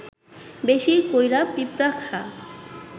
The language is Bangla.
বেশি কইরা পিঁপড়া খা